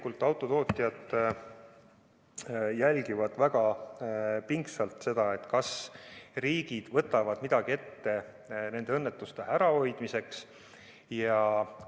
Ja autotootjad jälgivad väga pingsalt seda, kas riigid võtavad nende õnnetuste ärahoidmiseks midagi ette.